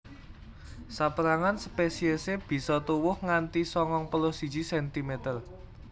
Sapérangan spesiesé bisa tuwuh nganti sangang puluh siji centimeter